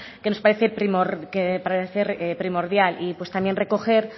que nos parece primordial y pues también recoger